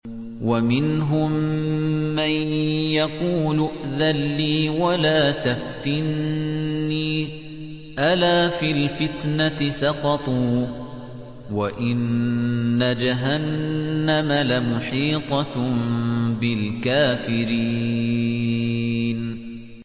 وَمِنْهُم مَّن يَقُولُ ائْذَن لِّي وَلَا تَفْتِنِّي ۚ أَلَا فِي الْفِتْنَةِ سَقَطُوا ۗ وَإِنَّ جَهَنَّمَ لَمُحِيطَةٌ بِالْكَافِرِينَ